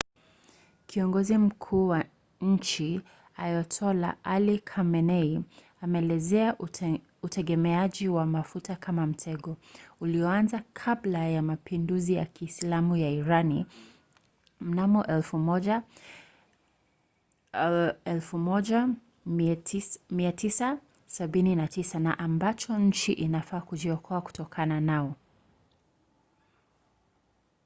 kiongozi mkuu wa nchi ayatollah ali khamenei ameelezea utegemeaji wa mafuta kama mtego ulioanza kabla ya mapinduzi ya kiislamu ya irani mnamo 1979 na ambao nchi inafaa kujiokoa kutokana nao